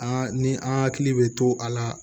An ni an hakili bɛ to a la